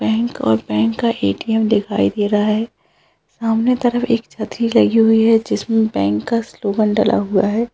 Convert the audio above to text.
Bank और bank का ATM. दिखाई दे रहा है सामने तरफ एक छतरी लगी हुई है जिसमे बैंक का स्लोगन डला हुआ है।